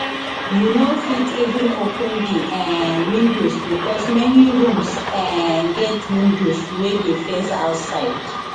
you no fit even open di um windows becos many rooms um get windows wey dey face outside